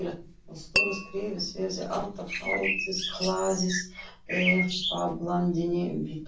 Og stóra skrefið verði alltaf hlaðið efablandinni biturð.